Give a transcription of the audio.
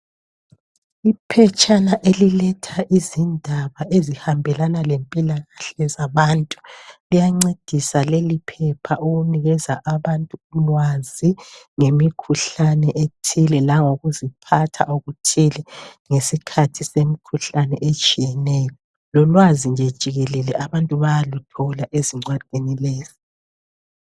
Iphetshana eliletha izindaba ezihambelana lempilakahle zabantu liyancedisa leliphepha ukunikeza abantu ulwazi ngemikhuhlane ethile langokuziphatha okuthile ngesikhathi semikhuhlane etshiyeneyo lolwazi nje jikelele abantu bayaluthola ezincwadini lezi.